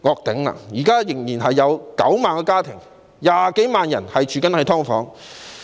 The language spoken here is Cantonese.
現時仍有9萬多個家庭、20多萬人居於"劏房"。